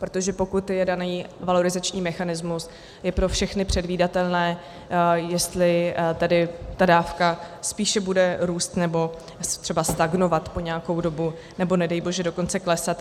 Protože pokud je daný valorizační mechanismus, je pro všechny předvídatelné, jestli tedy ta dávka spíše bude růst, nebo třeba stagnovat po nějakou dobu, nebo nedej bože dokonce klesat.